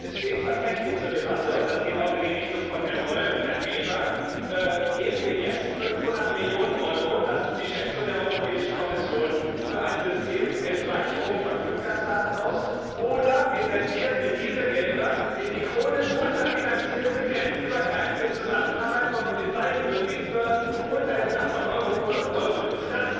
Denn es steht tatsächlich zur Debatte und das geht auch in die Richtung von Herrn Reul und Herrn Weber Geben wir jetzt 500 Millionen Euro das ist die Schätzung der Europäischen Kommission für ein System zur Speicherung von Fluggastdaten aus, oder investieren wir diese Gelder in die chronisch unterfinanzierte grenzübergreifende Zusammenarbeit von Polizei und Justizbehörden unter dem Dach von Europol und Eurojust?